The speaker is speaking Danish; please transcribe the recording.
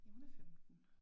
Jamen hun er 15